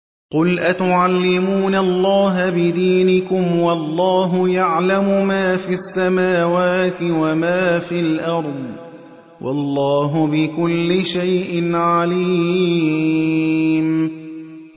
قُلْ أَتُعَلِّمُونَ اللَّهَ بِدِينِكُمْ وَاللَّهُ يَعْلَمُ مَا فِي السَّمَاوَاتِ وَمَا فِي الْأَرْضِ ۚ وَاللَّهُ بِكُلِّ شَيْءٍ عَلِيمٌ